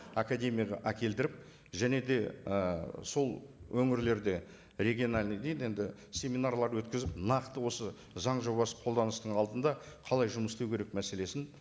академияға әкелдіріп және де ы сол өңірлерде региональный дейді енді семинарлар өткізіп нақты осы заң жобасы қолданыстың алдында қалай жұмыс істеу керек мәселесін